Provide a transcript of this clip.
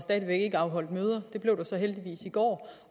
afholdt møder det blev der så heldigvis i går